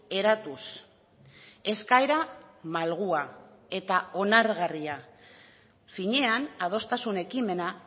eratuz eskaera malgua eta onargarria finean adostasun ekimena